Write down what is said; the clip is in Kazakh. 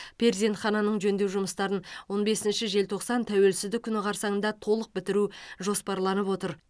перзентхананың жөндеу жұмыстарын он бесмінші желтоқсан тәуелсіздік күні қарсаңында толық бітіру жоспарланып отыр